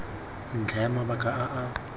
ntlha ya mabaka a a